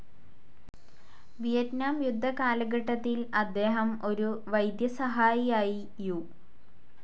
Vietnam യുദ്ധ കാലഘട്ടത്തിൽ അദ്ദേഹം ഒരു വൈദ്യസഹായിയായി യു.